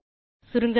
சுருங்கசொல்ல